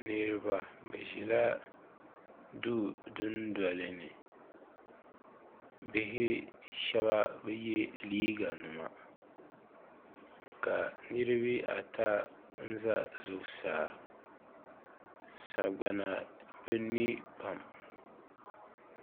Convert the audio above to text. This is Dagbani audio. Niriba bi zi la duu du noli ni bihi shɛba bi ye liiga nima ka niriba ata n za zuɣusaa sagbana bi niɛ pam.